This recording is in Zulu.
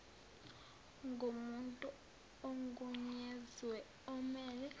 ngomuntu ogunyaziwe omele